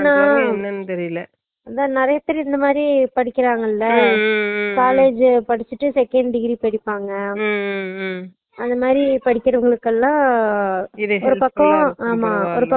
என்னா இதன் நறைய பேர் இந்த மாறி படிக்குறாங்கால college படிச்சுட்டு seconddegree